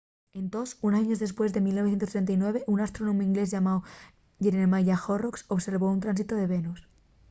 entós unos años depués en 1639 un astrónomu inglés llamáu jeremiah horrocks observó un tránsitu de venus